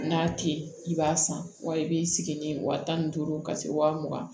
N'a te yen i b'a san wa i bi sigi ni wa tan ni duuru ka se wa mugan